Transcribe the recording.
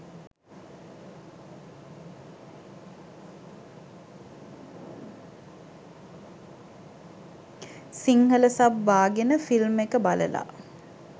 Sinhala sub බාගෙන film එක බලලා